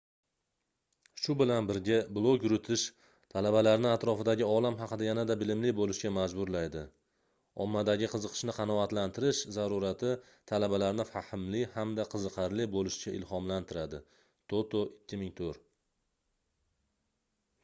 shu bilan birga blog yuritish talabalarni atrofidagi olam haqida yanada bilimli bo'lishga majburlaydi". ommadagi qiziqishni qanoatlantirish zarurati talabalarni fahmli hamda qiziqarli bo'lishga ilhomlantiradi toto 2004